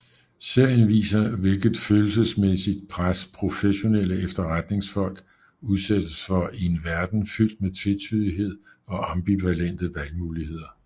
Serien viser hvilket følelsesmæssigt pres professionelle efterretningsfolk udsættes for i en verden fyldt med tvetydighed og ambivalente valgmuligheder